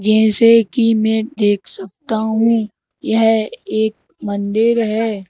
जैसे की मैं देख सकता हूं यह एक मंदिर है।